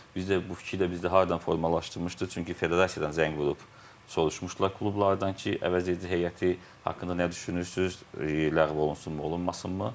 Biz də bu fikir də bizdə hardan formalaşdırmışdıq, çünki federasiyadan zəng vurub soruşmuşdular klublardan ki, əvəzedici heyəti haqqında nə düşünürsüz, ləğv olunsunmu, olunmasınmı?